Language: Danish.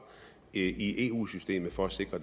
i eu systemet for at sikre